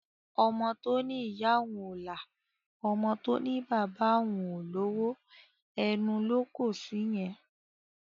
Ọmọ to ní ìyá òún o la, ọmọ tó ní pé bàbà òun o lowo, ẹnu lo kọ sí yẹn